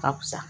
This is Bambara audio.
Ka fisa